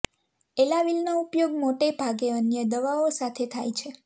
એલાવીલનો ઉપયોગ મોટે ભાગે અન્ય દવાઓ સાથે થાય છે